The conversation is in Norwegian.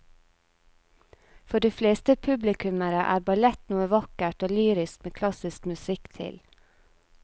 For de fleste publikummere er ballett noe vakkert og lyrisk med klassisk musikk til.